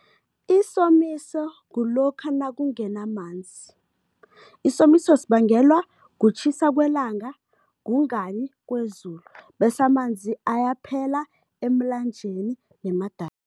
Isomiso kulokha nakungenamanzi. Isomiso sibangelwa kutjhisa kwelanga, kungani kwezulu bese amanzi ayaphela emlanjeni